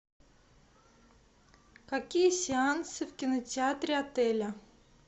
какие сеансы в кинотеатре отеля